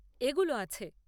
এগুলো আছে।